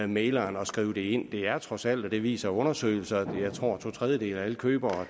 mægleren at skrive det ind er er trods alt det viser undersøgelser to tredjedele af alle købere